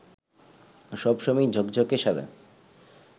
সব সময় ঝকঝকে সাদা